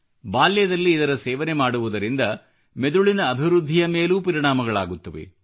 ಬಾಲ್ಯದಲ್ಲಿ ಇದರ ಸೇವನೆ ಮಾಡುವುದರಿಂದ ಮೆದುಳಿನ ಅಭಿವೃದ್ಧಿಯ ಮೇಲೂ ಪರಿಣಾಮಗಳಾಗುತ್ತವೆ